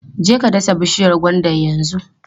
Je ka dasa bishiyar gwandan yanzu!